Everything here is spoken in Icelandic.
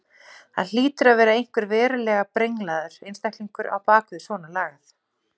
Það hlýtur að vera einhver verulega brenglaður einstaklingur á bak við svona lagað.